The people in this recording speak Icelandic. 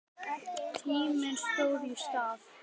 Tíminn stóð í stað.